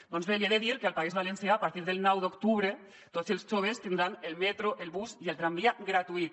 doncs bé li he de dir que al país valencià a partir del nou d’octubre tots els joves tindran el metro el bus i el tramvia gratuït